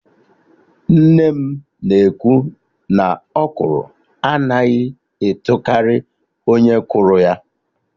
Nne m na ekwu naỌkwụrụ anaghị etokarị onye kụrụ ya